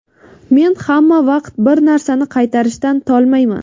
Men hamma vaqt bir narsani qaytarishdan tolmayman.